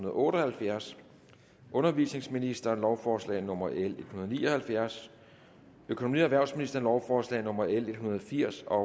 og otte og halvfjerds undervisningsministeren lovforslag nummer l en hundrede og ni og halvfjerds økonomi og erhvervsministeren lovforslag nummer l en hundrede og firs og